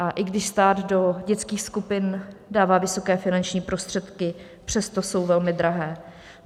A i když stát do dětských skupin dává vysoké finanční prostředky, přesto jsou velmi drahé.